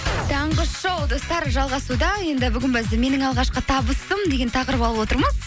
таңғы шоу достар жалғасуда енді бүгін біз менің алғашқы табысым деген тақырып алып отырмыз